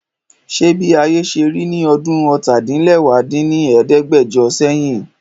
Ṣé bí ayé ṣe rí ní ọdún ọ́ta-din-lẹwá dín ní ẹ̀ẹ́dẹ́gbẹ́jọ sẹ́yìn?